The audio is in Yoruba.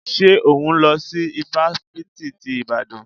Ṣé òhún lọ sí ifáfitì ti Ìbàdàn?